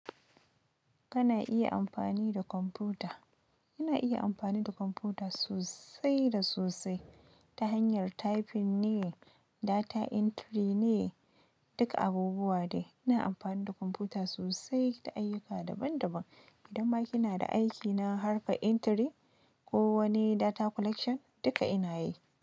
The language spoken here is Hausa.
Kana iya amfani da kwamfuta? Ina iya amfani da kwamfuta sosai da sosai ta hanyar typing ne, data entry ne, duka abubuwa ne. Ina amfani da kwamfuta sosai ta ayyuka daban daban. Idan ma kina da aiki na harkar entry ko wani data collection duka ina yi.